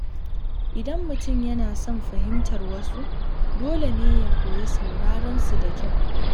Idan mutum yana son fahimtar wasu, dole ne ya koyi sauraron su da kyau.